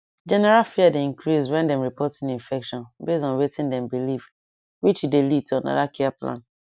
general fear dey increase when dem report new infection base on wetin dem believe which dey lead to another care plan